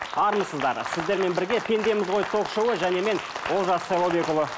армысыздар сіздермен бірге пендеміз ғой ток шоуы және мен олжас сайлаубекұлы